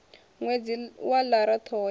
ṅwedzi wa lara ṱhoho ya